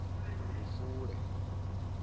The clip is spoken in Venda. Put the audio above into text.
lufule